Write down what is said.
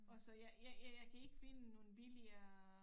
Og så jeg jeg jeg kan ikke finde nogen billigere